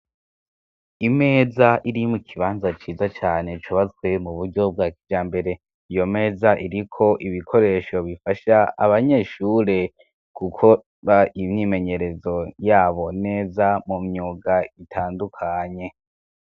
Imeza iri mu kibanza ciza cane cubatswe mu buryo bwa kijambere. Iyo meza iriko ibikoresho bifasha abanyeshure gukora imyimenyerezo yabo neza mu myuga itandukanye.